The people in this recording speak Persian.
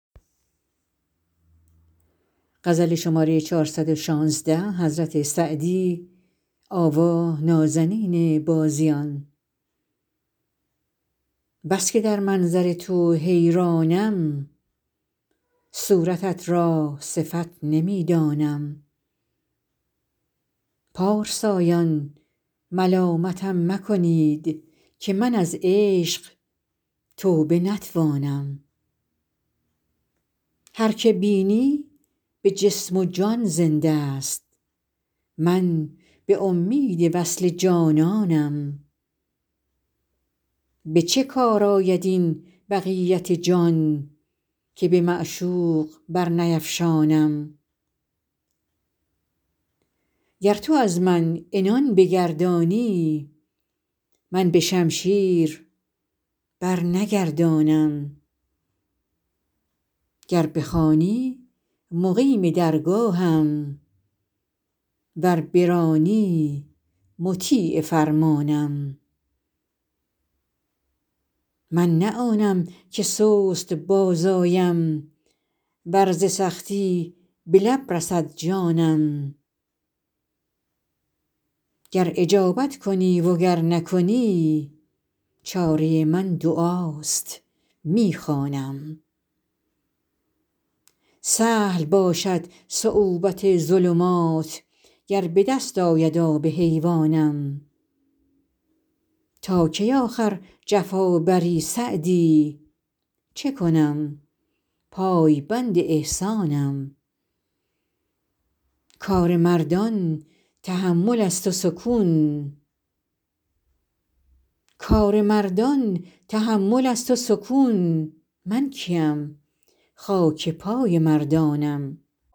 بس که در منظر تو حیرانم صورتت را صفت نمی دانم پارسایان ملامتم مکنید که من از عشق توبه نتوانم هر که بینی به جسم و جان زنده ست من به امید وصل جانانم به چه کار آید این بقیت جان که به معشوق برنیفشانم گر تو از من عنان بگردانی من به شمشیر برنگردانم گر بخوانی مقیم درگاهم ور برانی مطیع فرمانم من نه آنم که سست باز آیم ور ز سختی به لب رسد جانم گر اجابت کنی و گر نکنی چاره من دعاست می خوانم سهل باشد صعوبت ظلمات گر به دست آید آب حیوانم تا کی آخر جفا بری سعدی چه کنم پایبند احسانم کار مردان تحمل است و سکون من کی ام خاک پای مردانم